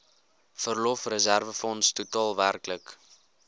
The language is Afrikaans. verlofreserwefonds totaal werklik